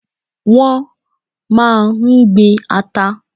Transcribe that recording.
Wọn máa ń gbin ata.